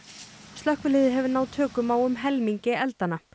slökkvilið hefur náð tökum á um helmingi eldanna